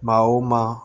Maa wo maa